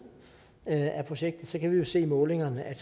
af projektet kunne vi jo se i målingerne at